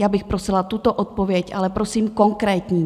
Já bych prosila tuto odpověď, ale prosím, konkrétní.